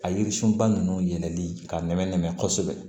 A yiri sunba nunnu yɛlɛli k'a nɛmɛ nɛmɛ kosɛbɛ